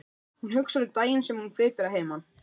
Hún hugsar um daginn sem hún flytur að heiman.